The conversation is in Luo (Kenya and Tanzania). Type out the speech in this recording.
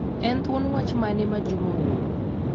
En thuon wach mane mane Juma ooro?